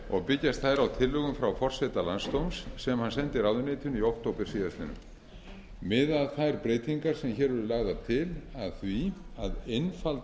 og byggjast þær á tillögum frá forseta landsdóms sem hann sendi ráðuneytinu í október síðastliðnum miða þær breytingar sem hér eru lagðar til að því að einfalda